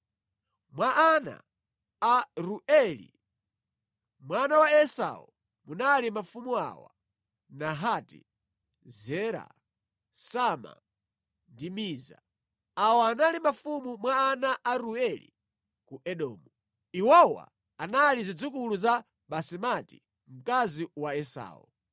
Mwa ana a Reueli, mwana wa Esau munali mafumu awa: Nahati, Zera, Sama ndi Miza. Awa anali mafumu mwa ana a Reueli ku Edomu. Iwowa anali zidzukulu za Basemati mkazi wa Esau.